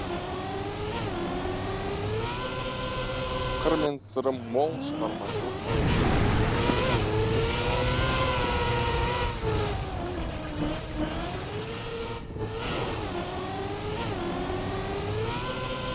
қыры мен сыры мол шығармашылық мамандық білімділікті талап етеді